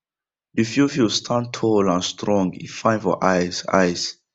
the fiofio stand tall and strong e fine for eyes eyes